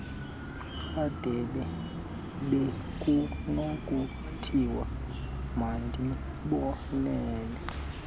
rhadebe bekunokuthiwa mandibonele